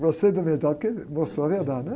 Gostei da verdade porque me, mostrou a verdade, né?